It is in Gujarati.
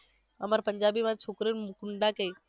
અમારે પંજાબીમાં છોકરીને હુંડા કેય